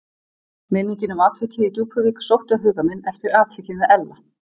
Minningin um atvikið í Djúpuvík sótti á huga minn eftir atvikið með Ella.